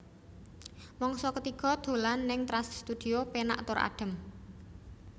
Mangsa ketiga dolan ning Trans Studio penak tur adem